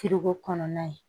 kɔnɔna ye